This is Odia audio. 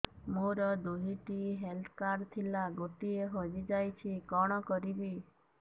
ମୋର ଦୁଇଟି ହେଲ୍ଥ କାର୍ଡ ଥିଲା ଗୋଟିଏ ହଜି ଯାଇଛି କଣ କରିବି